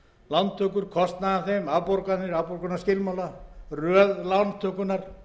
lántökur kostnað af þeim afborganir afborgunarskilmála röð lántökunnar